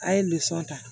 A' ye ta